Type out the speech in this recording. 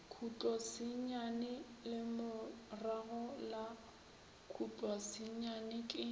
khutlosenyane lemorago la khutlosenyane ke